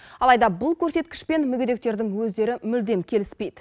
алайда бұл көрсеткішпен мүгедектердің өздері мүлдем келіспейді